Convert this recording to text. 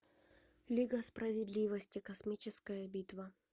лига справедливости космическая битва